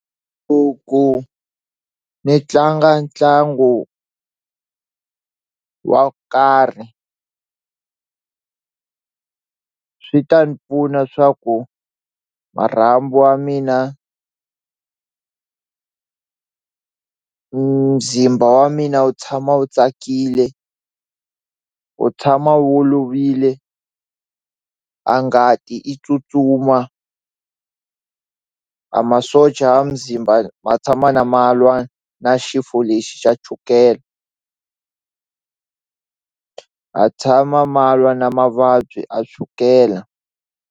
Ku ku ni tlanga ntlangu wa karhi swi ta ni pfuna swa ku marhambu wa mina muzimba wa mina wu tshama wu tsakile wu tshama wu olovile a ngati i tsutsuma a masocha a muzimba ma tshama na ma lwa na xifo lexi xa chukele ha tshama ma lwa na mavabyi a chukela.